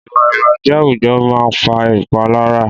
Ìwà ìbàjẹ́ àwùjọ máa ń fa ìpalára